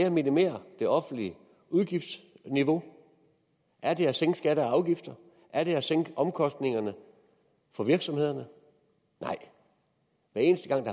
at minimere det offentlige udgiftsniveau er det at sænke skatter og afgifter er det at sænke omkostningerne for virksomhederne nej hver eneste gang